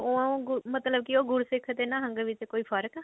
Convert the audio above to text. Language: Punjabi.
ਅਹ ਮਤਲਬ ਕਿ ਉਹ ਗੁਰਸਿੱਖ ਅਤੇ ਨਿਹੰਗ ਵਿੱਚ ਕੋਈ ਫਰਕ ਆ